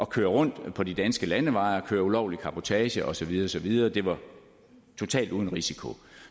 køre rundt på de danske landeveje og køre ulovlig cabotage og så videre og så videre det var totalt uden risiko